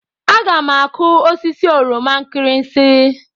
Aga m akụ osisi oroma nkirinsi.